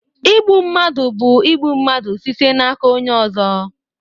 Igbu mmadụ bụ igbu mmadụ site n'aka onye ọzọ